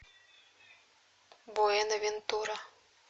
буэнавентура